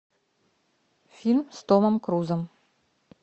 фильм с томом крузом